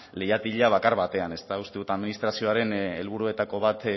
leihatila bakar batean ezta uste dut administrazioaren helburuetako bat